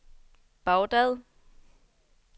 Baghdad